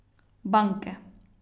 Banke.